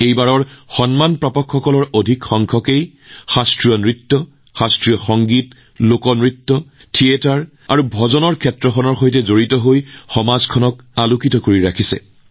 এইবাৰ সন্মান লাভ কৰাসকলৰ এক বৃহৎ সংখ্যকেই হৈছে শাস্ত্ৰীয় নৃত্য শাস্ত্ৰীয় সংগীত লোকনৃত্য নাট্য আৰু ভজনৰ জগতখনত দেশলৈ গৌৰৱ কঢ়িয়াই অনা ব্যক্তি